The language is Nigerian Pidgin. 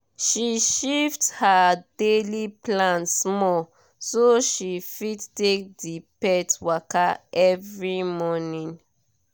she shift her daily plan small so she fit take the pet waka every morning